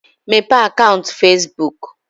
Mepee akaụnt Fesbuk!